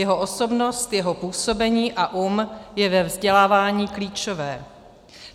Jeho osobnost, jeho působení a um jsou ve vzdělávání klíčové.